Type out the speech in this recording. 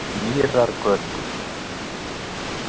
Mýrargötu